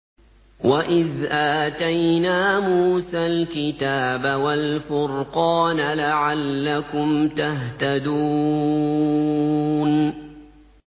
وَإِذْ آتَيْنَا مُوسَى الْكِتَابَ وَالْفُرْقَانَ لَعَلَّكُمْ تَهْتَدُونَ